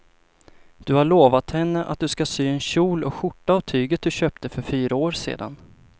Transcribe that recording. Du har lovat henne att du ska sy en kjol och skjorta av tyget du köpte för fyra år sedan.